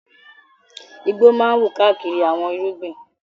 Igbó máa ń wù káàkiri àwọn irúgbìn.